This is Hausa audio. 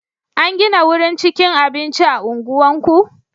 An gina wurin cikin abinci a unguwarku?